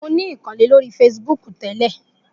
Mo sì ní ìkànnlé lórí feṣibúkù ó.